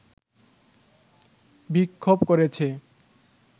বিক্ষোভ করেছে